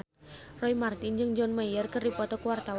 Roy Marten jeung John Mayer keur dipoto ku wartawan